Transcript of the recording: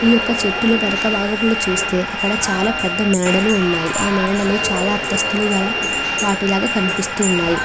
ఈ యొక్క చెట్టు వెనక భాగంలో చూస్తే అక్కడ చాలా పెద్ద మేడలు ఉన్నాయి. చాలా అంతస్తుల గల వాటిగా కనిపిస్తున్నాయి.